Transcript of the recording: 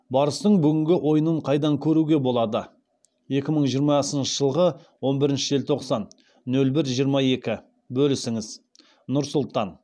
барыстың бүгінгі ойынын қайдан көруге болады екі мың жиырмасыншы жылғы он бірінші желтоқсан нөл бір жиырма екібөлісіңіз нұр сұлтан